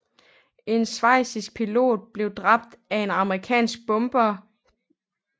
En schweizisk pilot blev dræbt af en amerikansk bomberbesætning i September 1944